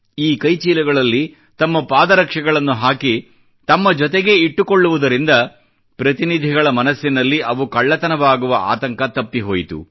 ಈ ಕೈ ಚೀಲಗಳಲ್ಲಿ ತಮ್ಮ ಪಾದ ರಕ್ಷೆಗಳನ್ನು ಹಾಕಿ ತಮ್ಮ ಜೊತೆಗೇ ಇಟ್ಟು ಕೊಳ್ಳುವುದರಿಂದ ಪ್ರತಿನಿಧಿಗಳ ಮನಸ್ಸಿನಲ್ಲಿ ಅವು ಕಳ್ಳತನವಾಗುವ ಆತಂಕ ತಪ್ಪಿ ಹೋಯಿತು